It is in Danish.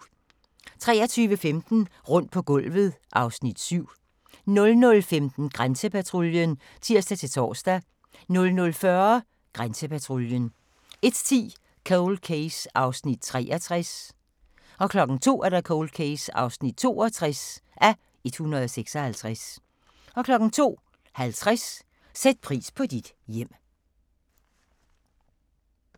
23:15: Rundt på gulvet (Afs. 7) 00:15: Grænsepatruljen (tir-tor) 00:40: Grænsepatruljen 01:10: Cold Case (63:156) 02:00: Cold Case (62:156) 02:50: Sæt pris på dit hjem